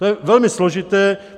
To je velmi složité.